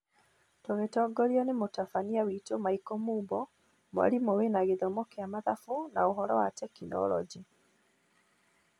Tũgĩtongorio nĩ mũtabania witũ Michael Mumbo, mwarimũ wĩna gĩthomo kĩa mathabu na ũhoro wa tekinoronji